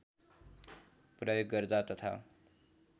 प्रयोग गर्दा तथा